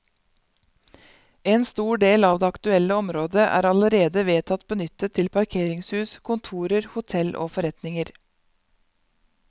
En stor del av det aktuelle området er allerede vedtatt benyttet til parkeringshus, kontorer, hotell og forretninger.